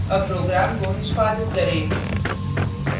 अब program को निष्पादित करें